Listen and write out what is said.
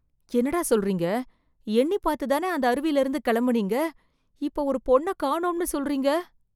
என்னடா சொல்றீங்க, எண்ணி பாத்து தானே அந்த அருவில இருந்து கிளம்புனீங்க, இப்ப ஒரு பொண்ண காணோம்னு சொல்றீங்க?